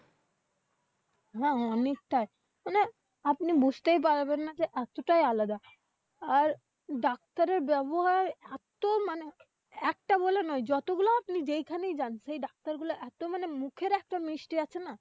হ্যাঁ অনেকটাই। মানে আপনি বুঝতেই পারবেন না যে এতটাই আলাদা। আর ডাক্তার এর ব্যাবহার এত মানে একটা বলে নয় যতগুলো আপনি যেখানেই যান সেই ডাক্তার গুলো এত মানে, মুখের একটা মিষ্টি আছে না?